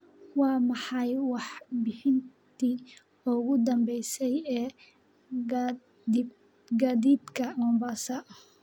waa maxay warbixintii ugu danbaysay ee gaadiidka mombasa